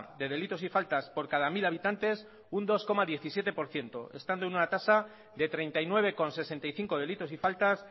de delitos y faltas por cada mil habitantes un dos coma diecisiete por ciento estando en una tasa de treinta y nueve coma sesenta y cinco delitos y faltas